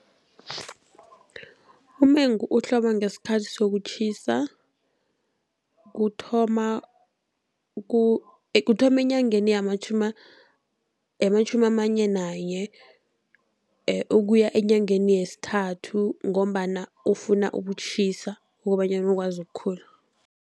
Umengu uhloma ngesikhathi sokutjhisa, kuthoma kuthoma enyangeni yamatjhumi amane nanye ukuya enyangeni yesithathu, ngombana ufuna ukutjhisa kobanyana ukwazi ukukhula.